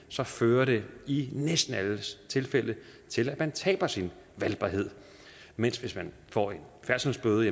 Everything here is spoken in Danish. så fører det i næsten alle tilfælde til at man taber sin valgbarhed mens hvis man får en færdselsbøde